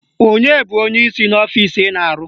Onye bụ onyeisi n'ọfisi ị na-arụ?